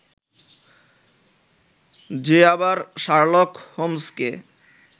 যে আবার শার্লক হোমসকে